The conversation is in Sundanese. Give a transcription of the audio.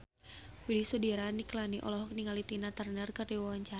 Widy Soediro Nichlany olohok ningali Tina Turner keur diwawancara